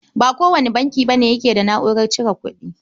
Ba kowane banki ba ne yake da na'urar cire kuɗi.